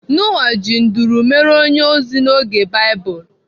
Noah ji nduru mere onye ozi n'oge Baịbụl.